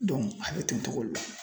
a be ten togo de la.